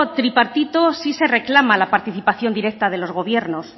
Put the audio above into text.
tripartito sí se reclama la participación directa de los gobiernos